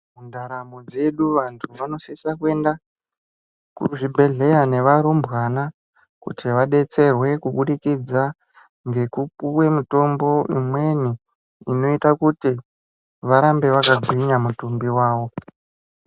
Mundaramo dzedu vantu vanosise kuenda kuzvibhedhleya nevarumbwana kuti vadetserwe kubudikidza ngekupuwe mitombo imweni inoita kuti varambe vakagwinya mutumbi wawo